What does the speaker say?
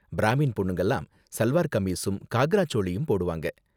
பிராமின் பொண்ணுங்கலாம் சல்வார் கமீஸும் காக்ரா சோளியும் போடுவாங்க.